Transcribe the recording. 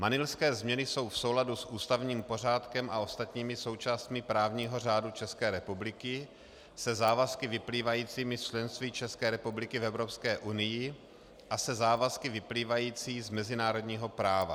Manilské změny jsou v souladu s ústavním pořádkem a ostatními součástmi právního řádu České republiky, se závazky vyplývajícími z členství České republiky v Evropské unii a se závazky vyplývajícími z mezinárodního práva.